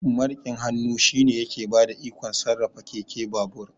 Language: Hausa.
Mariƙin hannu shine yake bada ikon sarrafa keke, babur